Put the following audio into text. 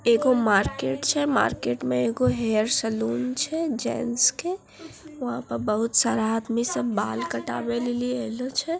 एगो मार्केट छे मार्केट में एगो हेयर सलून छे जेंट्स के वँहा पर बहुत सारा आदमी सब बाल कटावेलेली अले छे।